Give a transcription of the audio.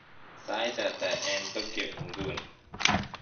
sait ata en Tokyo inguni